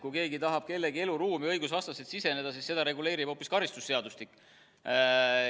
Kui keegi tahab kellegi eluruumi õigusvastaselt siseneda, siis seda reguleerib karistusseadustik.